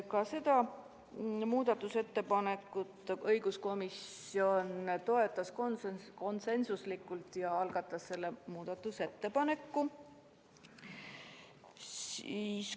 Ka seda ettepanekut õiguskomisjon toetas konsensusega ja algatas selle muudatusettepaneku.